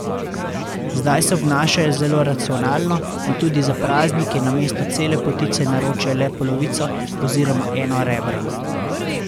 Zdaj se obnašajo zelo racionalno in tudi za praznike namesto cele potice naročijo le polovico oziroma eno rebro.